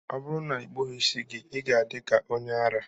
Ọ bụrụ na ị kpụghị isi gị, ị ga-adị ka onye ara